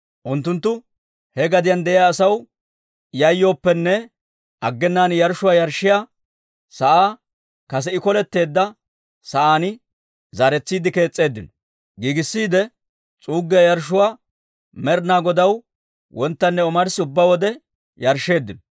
Unttunttu he gadiyaan de'iyaa asaw yayyooppenne, aggenaan yarshshuwaa yarshshiyaa sa'aa kase I koletteedda sa'aan zaaretsiide kees's'eeddino. Giigissiide, s'uuggiyaa yarshshuwaa Med'inaa Godaw wonttanne omarssi ubbaa wode yarshsheeddino.